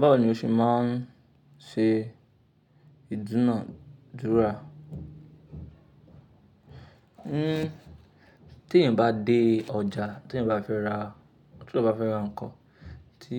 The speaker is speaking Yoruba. Báwo ni o ṣe máa ń ṣe ìdúnàdúrà? Hmm, tí èyàn bá dé ọjà, tí èyàn bá fẹ́ ra, tí eyan bá fẹ́ ra nǹkan, tí,